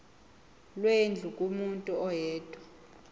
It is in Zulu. lwendlu kumuntu oyedwa